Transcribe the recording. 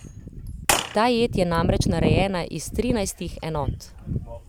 Ta jed je namreč narejena iz trinajstih enot.